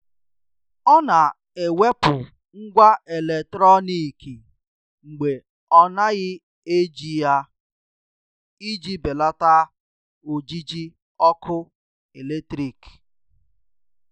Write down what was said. Ọ na-ewepụ ngwá eletrọnịkị mgbe ọ naghị eji ya iji belata ojiji ọkụ eletrik.